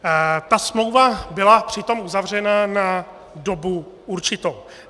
Ta smlouva byla přitom uzavřena na dobu určitou.